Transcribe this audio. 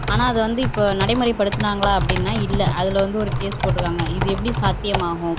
ஆனா அது வந்து இப்ப நடைமுறைப்படுத்துனாங்களா அப்படின்னா இல்லை அதுல வந்து ஒரு கேஸ் போட்டுருக்காங்க இது எப்படி சாத்தியமாகும்